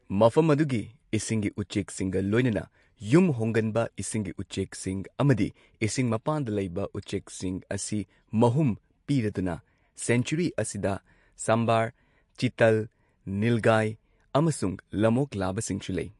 ꯃꯐꯝ ꯑꯗꯨꯒꯤ ꯏꯁꯤꯡꯒꯤ ꯎꯆꯦꯛꯁꯤꯡꯒ ꯂꯣꯏꯅꯅ ꯌꯨꯝꯍꯣꯡꯒꯟꯕ ꯏꯁꯤꯡꯒꯤ ꯎꯆꯦꯛꯁꯤꯡ ꯑꯃꯗꯤ ꯏꯁꯤꯡ ꯃꯄꯥꯟꯗ ꯂꯩꯕ ꯎꯆꯦꯛꯁꯤꯡ ꯑꯁꯤ ꯃꯍꯨꯝ ꯄꯤꯔꯗꯨꯅ, ꯁꯦꯡꯆꯨꯔꯤ ꯑꯁꯤꯗ ꯁꯥꯝꯕꯔ, ꯆꯤꯇꯥꯜ, ꯅꯤꯜꯒꯥꯏ ꯑꯃꯁꯨꯡ ꯂꯝꯑꯣꯛ ꯂꯥꯕꯁꯤꯡꯁꯨ ꯂꯩ꯫